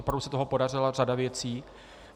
Opravdu se toho podařila řada věcí.